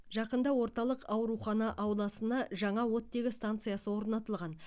жақында орталық аурухана ауласына жаңа оттегі станциясы орнатылған